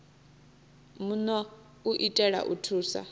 muno u itela u thusa